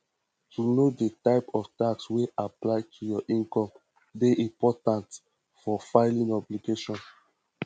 to know di type of tax wey apply to your income dey important for filimg obligation